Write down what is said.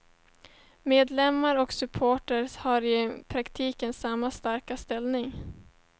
Medlemmar och suppleanter har i praktiken samma starka ställning.